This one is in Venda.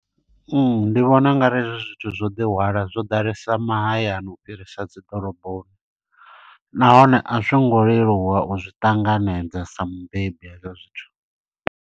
Ndi vhona ungari hezwo zwithu zwo ḓihwala zwo ḓalesa mahayani, u fhirisa dzi ḓoroboni. Nahone a zwo ngo leluwa u zwi ṱanganedza sa mubebi hezwo zwithu.